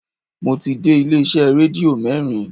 Mo ti dé ilé iṣẹ́ rédíò mẹ́rin